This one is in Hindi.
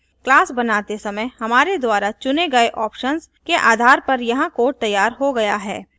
class बनाते समय हमारे द्वारा चुने गये options के आधार पर यहाँ code तैयार हो गया है